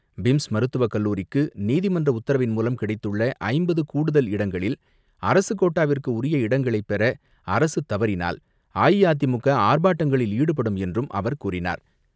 PIMS மருத்துவக் கல்லூரிக்கு நீதிமன்ற உத்தரவின் மூலம் கிடைத்துள்ள ஐம்பது கூடுதல் இடங்களில் அரசுக் கோட்டாவிற்கு உரிய இடங்களை பெற அரசுத் தவறினால் அஇஅதிமுக ஆர்ப்பாட்டங்களில் ஈடுபடும் என்றும் அவர் கூறினார்.